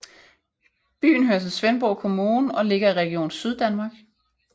Byen hører til Svendborg Kommune og ligger i Region Syddanmark